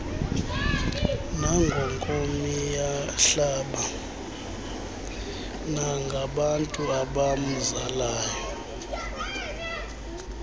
nangonkomiyahlaba nangabantu abamzalayo